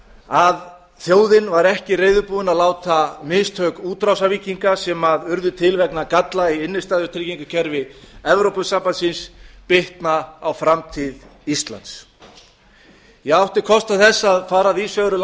að þjóðin var ekki reiðubúin að láta mistök útrásarvíkinga sem urðu til vegna galla í innstæðutryggingarkerfi evrópusambandsins bitna á framtíð íslands ég átti kost á því að fara víðs vegar um